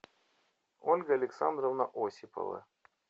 ольга александровна осипова